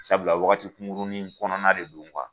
Sabula wagati kunkurunin kɔnɔna de do